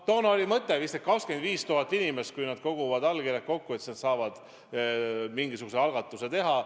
Toona oli mõte, et kui vähemalt 25 000 inimest kogub allkirjad kokku, siis nad saavad mingisuguse algatuse teha.